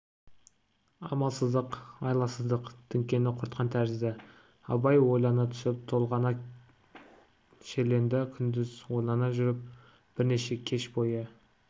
амалсыздық айласыздық діңкені құртқан тәрізді абай ойлана түсіп толғана шерленді күндіз ойлана жүріп бірнеше кеш бойы